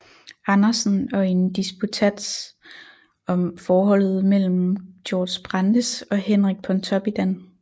Andersen og i en disputats om forholdet mellem Georg Brandes og Henrik Pontoppidan